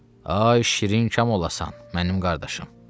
Ay şirin kam olasan, mənim qardaşım.